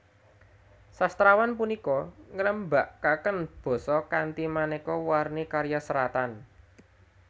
Sastrawan punika ngrembakaken basa kanthi manéka warni karya seratan